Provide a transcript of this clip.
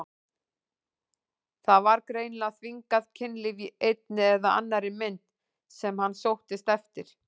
Það var greinilega þvingað kynlíf í einni eða annarri mynd sem hann sóttist eftir.